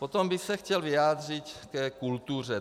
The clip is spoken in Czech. Potom bych se chtěl vyjádřit ke kultuře.